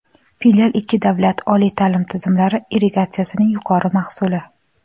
Filial ikki davlat oliy taʼlim tizimlari integratsiyasining yorqin mahsuli.